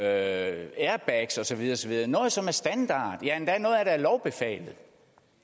airbags og så videre og så videre noget som er standard ja noget af lovbefalet